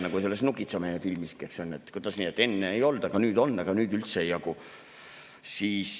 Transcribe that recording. Nagu "Nukitsamehe" filmis – kuidas nii, et enne ei olnud, aga nüüd on, aga nüüd üldse ei jagu?